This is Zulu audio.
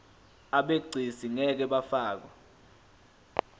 abegcis ngeke bafakwa